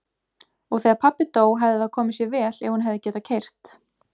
Og þegar pabbi dó hefði það komið sér vel ef hún hefði getað keyrt.